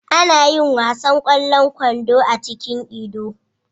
Ana yin wasan ƙwallon kwando a cikin Ido.